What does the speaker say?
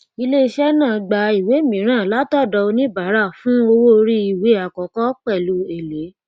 iléiṣẹ náà gba ìwé mìíràn látọdọ oníbàárà fún owó orí ìwé àkọkọ pẹlú èlé